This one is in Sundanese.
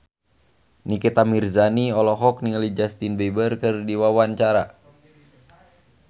Nikita Mirzani olohok ningali Justin Beiber keur diwawancara